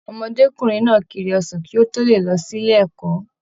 Ọmọdékunrin náà kíri ọsàn kí o to lè lọ sílé ẹ̀kọ́.